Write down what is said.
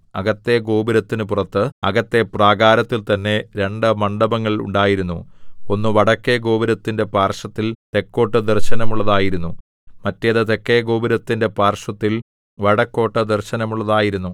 അകത്തെ ഗോപുരത്തിനു പുറത്ത് അകത്തെ പ്രാകാരത്തിൽ തന്നെ രണ്ടു മണ്ഡപങ്ങൾ ഉണ്ടായിരുന്നു ഒന്ന് വടക്കെ ഗോപുരത്തിന്റെ പാർശ്വത്തിൽ തെക്കോട്ടു ദർശനമുള്ളതായിരുന്നു മറ്റേത് തെക്കെഗോപുരത്തിന്റെ പാർശ്വത്തിൽ വടക്കോട്ടു ദർശനമുള്ളതായിരുന്നു